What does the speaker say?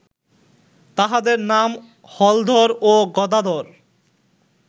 তাহাদের নাম হলধর ও গদাধর